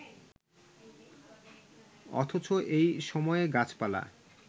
অথচ এই সময়ে গাছপালা